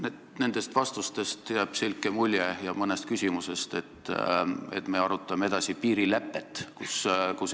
Mulle jääb nendest vastustest ja mõnest küsimusest selline mulje, nagu me arutaksime edasi piirilepet.